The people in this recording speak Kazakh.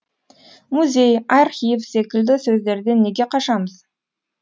музей архив секілді сөздерден неге қашамыз